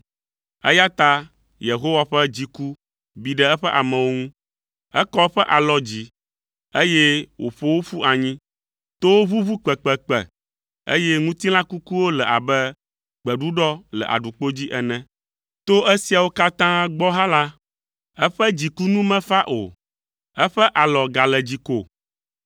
Eya ta Yehowa ƒe dziku bi ɖe eƒe amewo ŋu. Ekɔ eƒe alɔ dzi, eye wòƒo wo ƒu anyi. Towo ʋuʋu kpekpekpe, eye ŋutilã kukuwo le abe gbeɖuɖɔ le aɖukpo dzi ene. To esiawo katã gbɔ hã la, eƒe dziku nu mefa o, eƒe alɔ gale dzi ko.